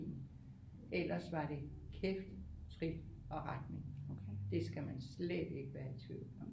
Ellers var det kæft trit og retning det skal man slet ikke være i tvivl om